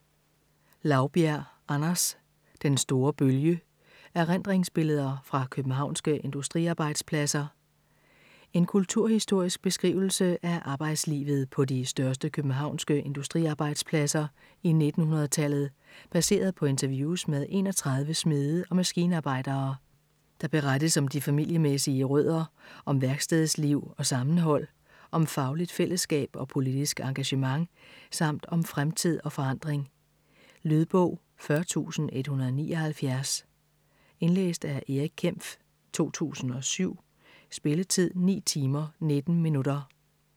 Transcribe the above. Laubjerg, Anders: Den store bølge: erindringsbilleder fra københavnske industriarbejdspladser En kulturhistorisk beskrivelse af arbejdslivet på de største københavnske industriarbejdspladser i 1900-tallet, baseret på interviews med 31 smede og maskinarbejdere. Der berettes om de familiemæssige rødder, om værkstedsliv og sammenhold, om fagligt fællesskab og politisk engagement samt om fremtid og forandring. Lydbog 40179 Indlæst af Erik Kempf, 2007. Spilletid: 9 timer, 19 minutter.